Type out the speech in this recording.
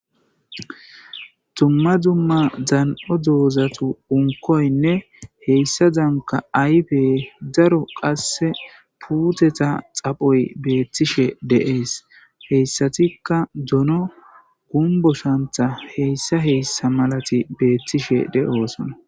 dumma dzumma dan7o doozatu unkoynne heyssa danka aybe daro qasse puuteta xaphoy beettishe de7ees heyssatikka dono gumbo shantha heyssa hessa malati beettishe de7oosona